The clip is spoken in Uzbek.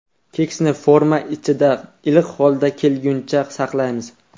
Keksni forma ichida iliq holga kelguncha saqlaymiz.